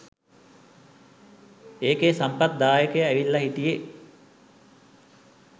ඒකෙ සම්පත් දායකය ඇවිල්ල හිටියෙ